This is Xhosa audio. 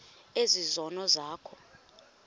ezi zono zakho